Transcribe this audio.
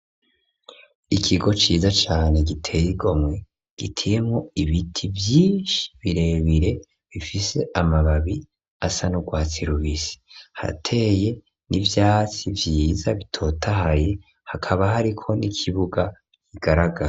Ikigo ciza cane giteye igomwe giteyemwo ibiti vyinshi birebire bifise amababi asa n'urwatsi rubisi, harateye n'ivyatsi vyiza bitotahaye, hakaba hariko n'ikibuga kigaragara.